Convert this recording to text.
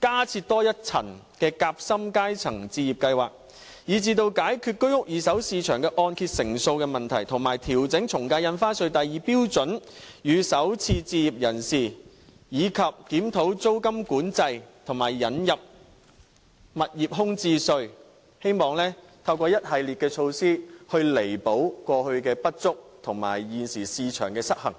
加設多一層夾心階層置業計劃、解決居屋二手市場按揭成數問題、調整從價印花稅第2標準稅率予首次置業人士、檢討租金管制，以及引入物業空置稅，希望透過一系列措施彌補過去的不足和現時市場的失衡。